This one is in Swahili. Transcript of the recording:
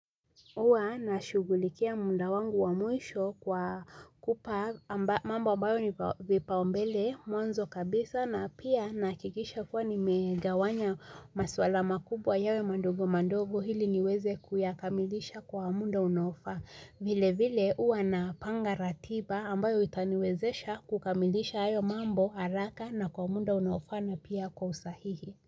Huwa na shughulikia muda wangu wa mwisho kwa kupa mambo ambayo ni vipaumbele mwanzo kabisa na pia nahakikisha kuwa nimegawanya maswala makubwa yawe madogo madogo ili niweze kuyakamilisha kwa muda unaofaa. Vile vile huwa napanga ratiba ambayo itaniwezesha kukamilisha hayo mambo haraka na kwa muda unaofaa na pia kwa usahihi.